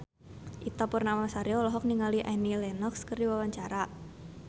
Ita Purnamasari olohok ningali Annie Lenox keur diwawancara